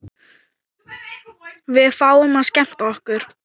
Við fáum að skemmta okkur.